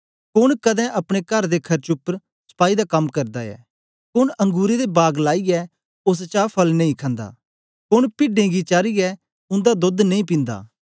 कोन कदें अपने कर दे खर्च उपर सपाई दा कम करदा ऐ कोन अंगुरें दा बाग लाईयै ओस चा फल नेई खंदा कोन पिड्डें गी चारीयै उन्दा दोध नेई पींदा